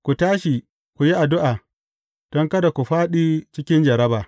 Ku tashi ku yi addu’a, don kada ku fāɗi cikin jarraba.